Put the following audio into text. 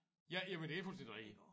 Ja jamen det er fuldstændig rigtigt